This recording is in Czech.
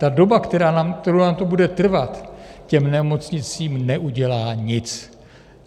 Ta doba, kterou nám to bude trvat, těm nemocnicím neudělá nic.